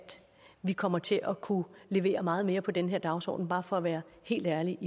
vi kommer til at kunne levere meget mere på den her dagsorden bare for at være helt ærlig